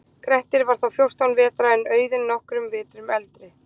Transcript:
Grettir var þá fjórtán vetra en Auðunn nokkrum vetrum eldri.